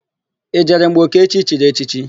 I jere mgbe Okechi chiri echichi?